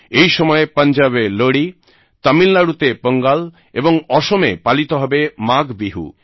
এই সময়ে পাঞ্জাবে লোড়ী তামিলনাড়ূতে পোঙ্গাল এবং অসমে পালিত হবে মাঘ বিহু